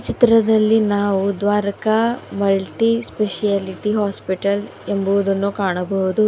ಚಿತ್ರದಲ್ಲಿ ನಾವು Dwaraka multi speciality hospital ಎಂಬುವುದನ್ನು ಕಾಣಬಹುದು.